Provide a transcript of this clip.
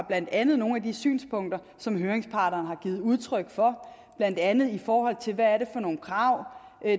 blandt andet nogle af de synspunkter som høringsparterne har givet udtryk for blandt andet i forhold til hvad det er for nogle krav